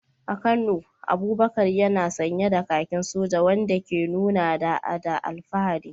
A Kano, Abubakar yana sanye da kakin soja, wanda ke nuna da’a da alfahari.